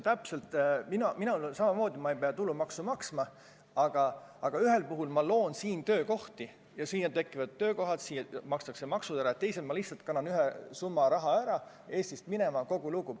Minul on samamoodi, ma ei pea tulumaksu maksma, aga ühel puhul ma loon siin töökohti ja siin tekivad töökohad, siin makstakse maksud ära, teisel juhul ma lihtsalt kannan mingi summa raha Eestist minema, ja kogu lugu.